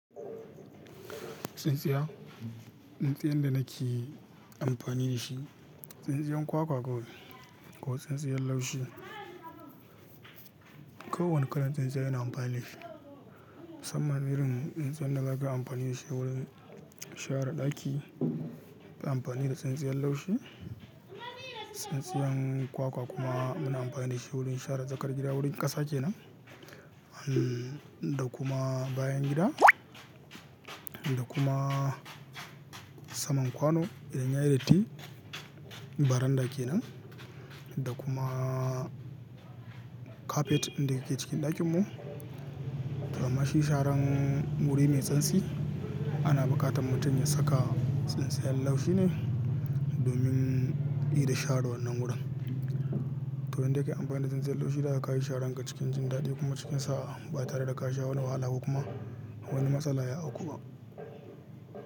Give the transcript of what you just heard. Tsintsiya, tsintsiyan da nake amfani da shi, tsintsiyan kwakwa kawai ko tsintsiyan laushi. Kowanne kalan tsintsiya ina amfani da shi. Musamman irin tsintsiyan da ba ka amfani da shi wurin share ɗaki, kai amfani da tsintsiyan laushi. Tsintsiyan kwakwa kuma muna amfani da shi wurin share tsakar gida, wurin ƙasa kenan. Da kuma bayan gida, da kuma saman kwano idan ya yi datti. Baranda kenan, da kuma kafet ɗin da yake cikin ɗakin mu, to amma shi sharan wuri mai santsi ana buƙatan mutum ya saka tsintsiyan laushi ne. Domin ida share wannan wurin. To indai kai amfani da tsintsiyan laushi, za ka ga ka yi sharan ka cikin jin daɗi kuma cikin sa'a ba tare da ka sha wani wahala ba kuma wani matsala ya auku ba.